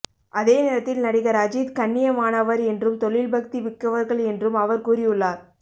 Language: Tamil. அதே நேரத்தில் நடிகர் அஜித் கண்ணியமானவர் என்றும் தொழில் பக்தி மிக்கவர்கள் என்றும் அவர் கூறியுள்ளார்